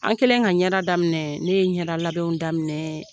An kɛlen ka ɲɛ daminɛ ne ye ɲɛda labɛnw daminɛ